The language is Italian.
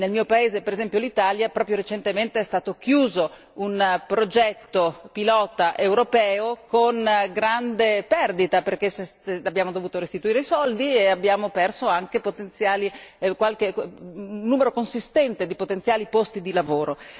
Nel mio paese per esempio, l'Italia, proprio recentemente è stato chiuso un progetto pilota europeo, con grande perdita, perché abbiamo dovuto restituire i soldi e abbiamo perso anche un numero consistente di potenziali posti di lavoro.